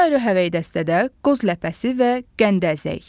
Ayrı-ayrı həvəngdəstədə qoz ləpəsi və qənd əzək.